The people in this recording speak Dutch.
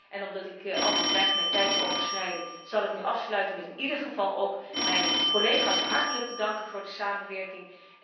En omdat ik anders mijn tijd overschrijd zal ik nu afsluiten met in ieder geval ook mijn collega's hartelijk te danken voor de samenwerking.